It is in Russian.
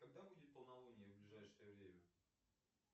когда будет полнолуние в ближайшее время